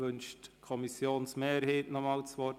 Wünscht die Kommissionsmehrheit noch einmal das Wort?